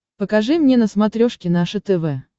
покажи мне на смотрешке наше тв